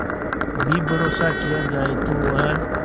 भी भरोसा किया जाए तो वह